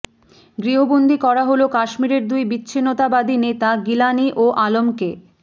গৃহবন্দী করা হল কাশ্মীরের দুই বিচ্ছিন্নতাবাদী নেতা গিলানি ও আলমকে